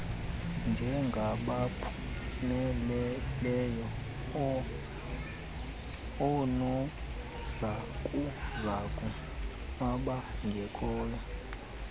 njengabaphumeleleyo oonozakuzaku abangekhoyo